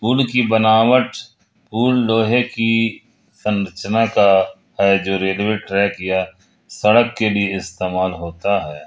पुल की बनावट पुल लोहे की संरचना का है जो रेलवे ट्रैक या सड़क के लिए इस्तेमाल होता है।